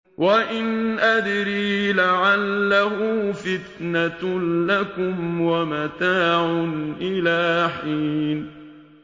وَإِنْ أَدْرِي لَعَلَّهُ فِتْنَةٌ لَّكُمْ وَمَتَاعٌ إِلَىٰ حِينٍ